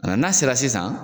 n'a sera sisan.